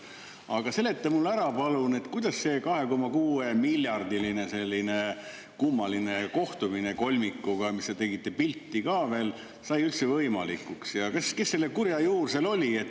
Aga seleta mulle palun ära, kuidas see 2,6 miljardi kohta ja selle kolmiku kummaline kohtumine, kus te tegite pilti ka veel, sai üldse võimalikuks ja kes selle kurja juur seal oli.